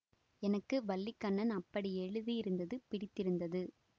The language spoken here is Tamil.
எனக்கு வல்லிக்கண்ணன் அப்படி எழுதியிருந்தது பிடித்திருந்தது